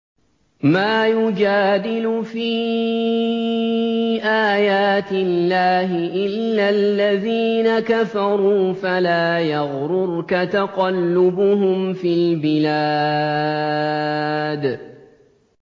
مَا يُجَادِلُ فِي آيَاتِ اللَّهِ إِلَّا الَّذِينَ كَفَرُوا فَلَا يَغْرُرْكَ تَقَلُّبُهُمْ فِي الْبِلَادِ